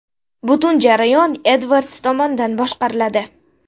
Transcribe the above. Butun jarayon Edvards tomonidan boshqariladi.